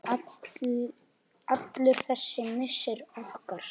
Allur þessi missir okkar.